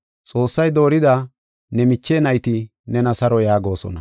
Xoossay doorida ne miche nayti nena saro yaagosona.